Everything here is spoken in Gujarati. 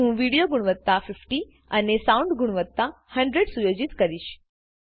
હું વિડિયો ગુણવત્તા 50 અને સાઉન્ડ ગુણવત્તા 100 સુયોજિત કરીશ